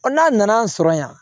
n'a nana an sɔrɔ yan